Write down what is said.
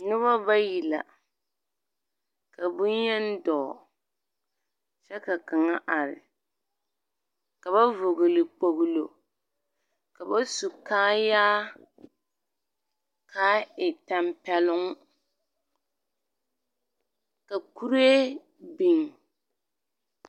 Noba bayi la, ka boŋyen dɔɔ, kyɛ ka kaŋa a are. Ka ba vɔgele kpogilo, ka ba su kaayaa, kaa e tampɛloŋ, ka kuree biŋ.